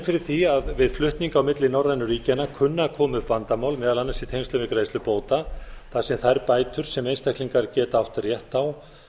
fyrir því að við flutning á milli norrænu ríkjanna kunni að koma upp vandamál meðal annars í tengslum við greiðslu bóta þar sem þær bætur sem einstaklingar geta átt rétt á